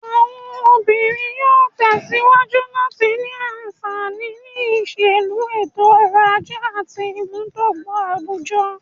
Àwọn obìnrin yóò tẹ̀ síwájú láti ní àǹfààní, ní ìṣèlú, ètò-ọrọ̀ ajé àti ìmúdọ́gba àwùjọ.